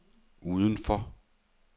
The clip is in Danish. udenfor